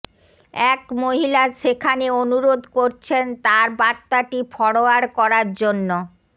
এক মহিলা সেখানে অনুরোধ করছেন তাঁর বার্তাটি ফরোয়ার্ড করার জন্য